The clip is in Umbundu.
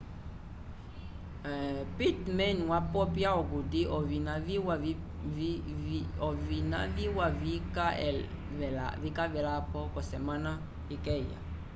pittman wapopya okuti ovina viwa vika velapo k'osemana ikeya